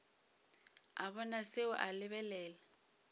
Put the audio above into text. a bona seo a lebelela